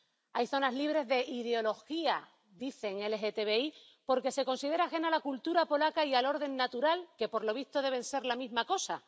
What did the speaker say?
Hay zonas libres de ideología ⸻dicen⸻ LGBTI porque esta se considera ajena a la cultura polaca y al orden natural que, por lo visto, deben ser la misma cosa.